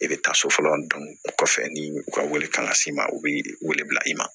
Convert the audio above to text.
I bɛ taa so fɔlɔ o kɔfɛ ni u ka wari kan ka s'i ma u bi wele bila i ma